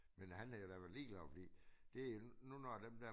Men han er i hvert fald ligeglad fordi det en nu når dem der